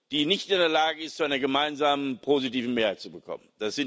die nicht in der Lage ist, zu einer gemeinsamen positiven Mehrheit zu kommen.